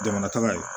Jamana taga ye